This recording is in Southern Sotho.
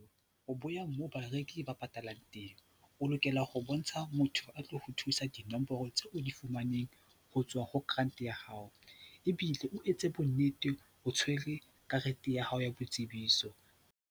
bo ya moo bareki ba patalang teng. O lokela ho bontsha motho a tlo o thusa dinomoro tseo o di fumaneng ho tswa ho grant ya hao ebile o etse bonnete o tshwere karete ya hao ya boitsebiso.